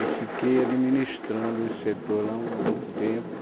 e fiquei administrando esse setor lá um algum tempo.